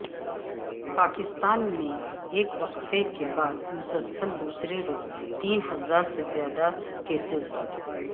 پاکستان میں ایک وقفے کے بعد مسلسل دوسرے روز تین ہزار سے زیادہ کیسز